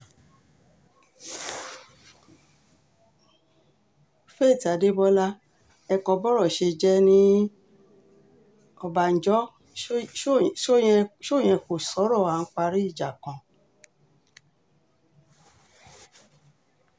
faith adébọlá ẹ̀kọ́ bọ́rọ̀ ṣe jẹ́ ní ọ̀bànjọ́ ṣó o yẹn kò sọ̀rọ̀ à ń parí ìjà kan